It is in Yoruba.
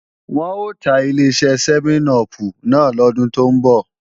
Wọn ò ta Ileṣẹ́ sẹ́mẹ́n-upù náà lọ́dún tó ń bọ̀